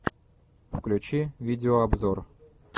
включи видеообзор